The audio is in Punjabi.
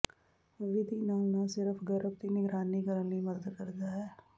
ਵਿਧੀ ਨਾਲ ਨਾ ਸਿਰਫ਼ ਗਰਭ ਦੀ ਨਿਗਰਾਨੀ ਕਰਨ ਲਈ ਮਦਦ ਕਰਦਾ ਹੈ